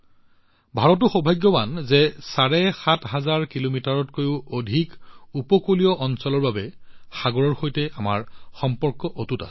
ভাৰতো সৌভাগ্যৱান যে চাৰে সাত হাজাৰ কিলোমিটাৰ ৭৫০০ কিলোমিটাৰতকৈও অধিক উপকূলীয় অঞ্চলৰ বাবে সাগৰৰ সৈতে আমাৰ সম্পৰ্ক অটুট হৈছে